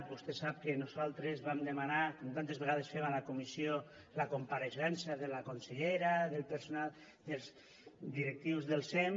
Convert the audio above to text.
vostè sap que nosaltres vam demanar com tantes vegades fem a la comissió la compareixença de la consellera del personal dels directius del sem